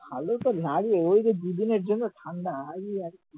ভালোতো লাগে but দুদিনের জন্য ঠান্ডা, এই আরকি